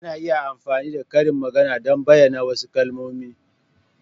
Ana iya amfani da karin magana don bayyana wasu kalmomi.